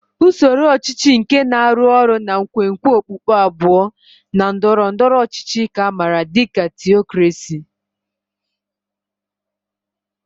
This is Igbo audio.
Usoro ọchịchị nke na-arụ ọrụ na nkwenkwe okpukpe abụọ na ndọrọ ndọrọ ọchịchị ka a maara dị ka Theocracy.